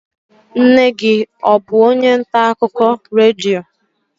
Nne gị ọ bụ onye ntaakụkọ redio?